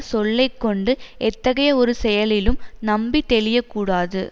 சொல்லை கொண்டு எத்தகைய ஒரு செயலிலும் நம்பி தெளிய கூடாது